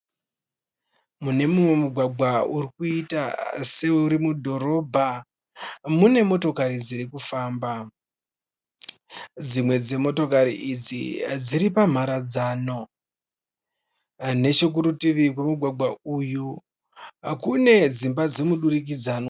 Munemumwe mugwagwa urikuita seuri mudhorobha munemotokari dzirikufamba. Dzimwe dzemotokari idzi dziri pamharadzano. Nechokurutivi kwomugwagwa uyu kune dzimba dzemudurikidzanwa.